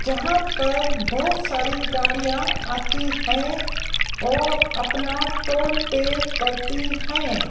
जहां पर बहुत सारी गाड़ियां आती है और अपना टोल पे करती है।